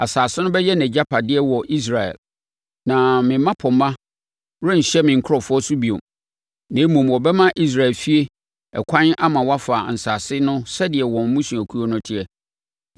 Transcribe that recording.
Asase no bɛyɛ nʼagyapadeɛ wɔ Israel. Na me mmapɔmma renhyɛ me nkurɔfoɔ so bio, na mmom wɔbɛma Israel efie ɛkwan ama wɔafa asase no sɛdeɛ wɔn mmusuakuo no teɛ.